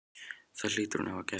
Það hlýtur hún að hafa gert.